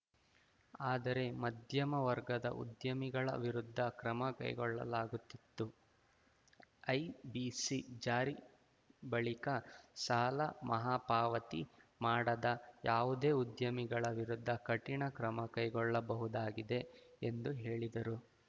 ಆದರೆ ಮಧ್ಯಮ ವರ್ಗದ ಉದ್ಯಮಿಗಳ ವಿರುದ್ಧ ಕ್ರಮ ಕೈಗೊಳ್ಳಲಾಗುತ್ತಿತ್ತು ಐಬಿಸಿ ಜಾರಿ ಬಳಿಕ ಸಾಲ ಮಹಾಪಾವತಿ ಮಾಡದ ಯಾವುದೇ ಉದ್ಯಮಿಗಳ ವಿರುದ್ಧ ಕಠಿಣ ಕ್ರಮ ಕೈಗೊಳ್ಳಬಹುದಾಗಿದೆ ಎಂದು ಹೇಳಿದರು